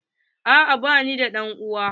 A'a ba ni da ɗan uwa.